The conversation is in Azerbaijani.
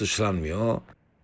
Füzələr atışlanmıyor.